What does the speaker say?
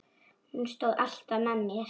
Hún stóð alltaf með mér.